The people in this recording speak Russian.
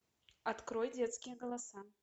открой детские голоса